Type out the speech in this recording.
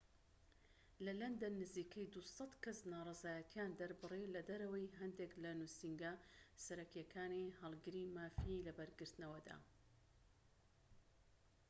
لە لەندەن، نزیکەی ٢٠٠ کەس ناڕەزایەتیان دەربڕی لەدەرەوەی هەندیك لە نوسینگە سەرەکیەکانی هەڵگری مافی لەبەرگرتنەوەدا